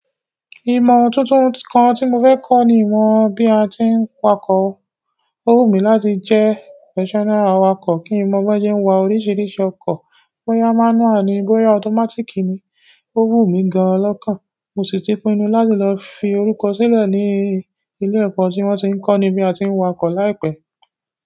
Ìmọ̀ tuntun kan tí mo fẹ́ kọ́ ni ìmọ̀ bí a ti ń wakọ̀. Ó wù mí láti jẹ́ professional awakọ̀ kí n mọ̀ bóyá se ń wa oríṣiríṣi ọkọ̀; bóyá mánúà ni, bóyá ọtọ́mátíkì ni. Ó wù mí gan lọ́kàn. Mo sì ti pinnu láti lọ fi orúkọ sílẹ̀ ní ilé ẹ̀kọ́ tí wọ́n tí ń kọní bí a ti ń wakọ̀ láìpẹ́.